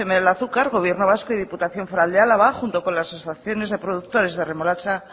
ocm del azúcar gobierno vasco y diputación foral de álava junto con las asociaciones de productores de remolacha